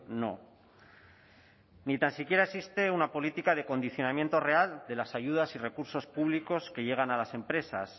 no ni tan siquiera existe una política de condicionamiento real de las ayudas y recursos públicos que llegan a las empresas